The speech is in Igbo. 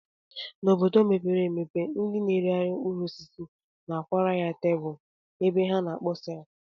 N'obodo mepere emepe, ndị na-eregharị mkpụrụosisi na-akwara ya tebụl ebe ha na-akpọsa ya